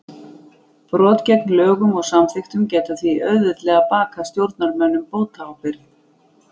Brot gegn lögum og samþykktum geta því auðveldlega bakað stjórnarmönnum bótaábyrgð.